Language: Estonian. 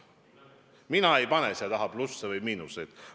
Mina ei pane sinu öeldule taha plusse või miinuseid.